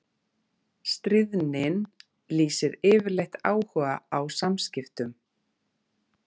Stríðnin lýsir yfirleitt áhuga á samskiptum.